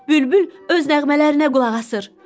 Bülbül öz nəğmələrinə qulaq asır.